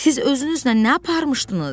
Siz özünüzlə nə aparmışdınız?